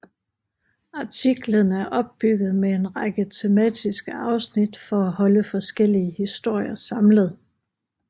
Artiklen er opbygget med en række tematiske afsnit for at holde forskellige historier samlet